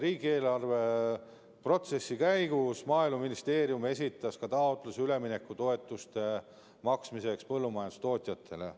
Riigieelarve protsessi käigus Maaeluministeerium esitas ka taotluse põllumajandustootjatele üleminekutoetuste maksmiseks.